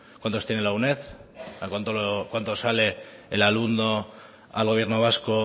cuántos tiene la uned a cuánto sale el alumno al gobierno vasco